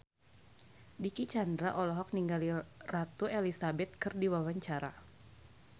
Dicky Chandra olohok ningali Ratu Elizabeth keur diwawancara